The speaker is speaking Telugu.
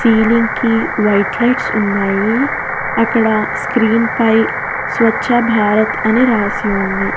సీలింగ్ కి వైట్ లైట్స్ ఉన్నాయి అక్కడ స్క్రీన్ పై స్వచ్ఛభారత్ అని రాసి ఉంది.